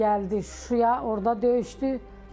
Sonra gəldi Şuşaya, orda döyüşdü.